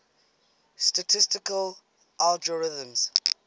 statistical algorithms